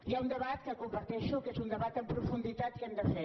hi ha un debat que comparteixo que és un debat en profunditat que hem de fer